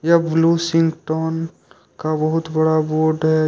यह ब्लू सिंह टोन का बहुत बड़ा बोर्ड है।